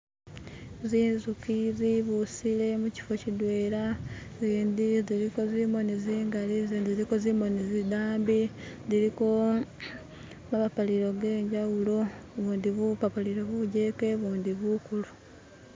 Zinzuchi zibusile muchifo chidwela zindi ziliko zimoni zingali zindi ziliko zimoni zidambi ziliko mapapalilo genjawulo bundi bupapalilo bujeke bundi bukulu.